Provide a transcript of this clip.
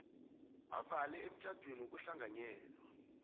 avela emtjhadweni wokuhlanganyela